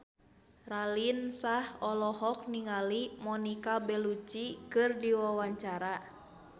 Raline Shah olohok ningali Monica Belluci keur diwawancara